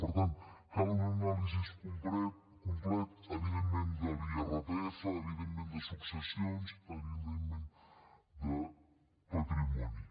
per tant cal una anàlisi completa evidentment de l’irpf evidentment de successions evidentment de patrimoni